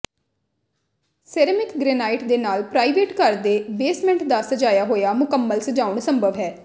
ceramic granite ਦੇ ਨਾਲ private ਘਰ ਦੇ ਬੇਸਮੈਂਟ ਦਾ ਸਜਾਇਆ ਹੋਇਆ ਮੁਕੰਮਲ ਸਜਾਉਣਾ ਸੰਭਵ ਹੈ